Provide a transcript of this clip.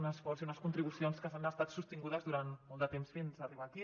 un esforç i unes contribucions que han estat sostingudes durant molt de temps fins a arribar aquí